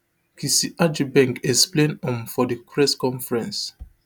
kissi agyebeng explain um for di press conference